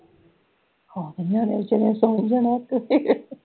ਹਾਂ ਨਿਆਣਿਆਂ ਵਿਚਾਰਿਆ ਨੇ ਸੋਹ ਹੀ ਜਾਣਾ